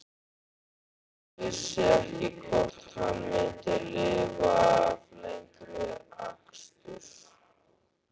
Örn vissi ekki hvort hann myndi lifa af lengri akstur.